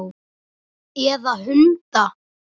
Eða hunda?